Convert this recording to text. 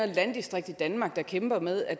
landdistrikt i danmark der kæmper med at